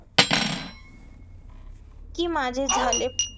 की माझे झाले